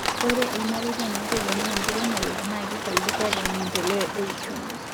ore irmareta naitegemea enkiremore na kifaidika te maendeleo e uchumu